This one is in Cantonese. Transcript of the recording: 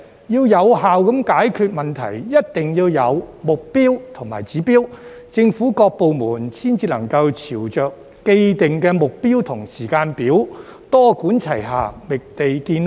要有效解決問題，一定要有目標和指標，政府各部門才能朝着既定目標及時間表，多管齊下，覓地建屋。